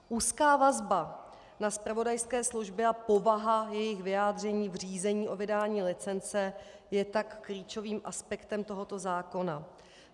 Úzká vazba na zpravodajské služby a povaha jejich vyjádření v řízení o vydání licence je tak klíčovým aspektem tohoto zákona.